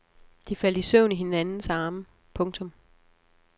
De faldt i søvn i hinandens arme. punktum